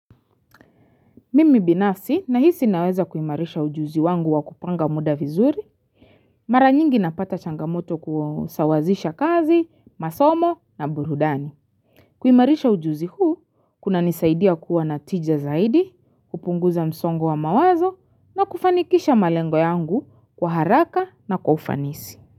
Mimi binafsi nahisi naweza kuimarisha ujuzi wangu wa kupanga muda vizuri, mara nyingi napata changamoto kusawazisha kazi, masomo na burudani. Kuimarisha ujuzi huu, kunanisaidia kuwa na tija zaidi, hupunguza msongo wa mawazo na kufanikisha malengo yangu kwa haraka na kufanisi.